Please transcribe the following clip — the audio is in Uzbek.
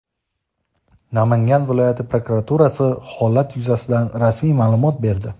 Namangan viloyati prokuraturasi holat yuzasidan rasmiy ma’lumot berdi.